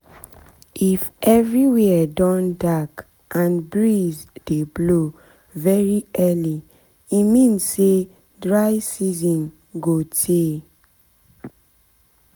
if everywhere don dark and breeze dey blow very early e mean say dry season go tay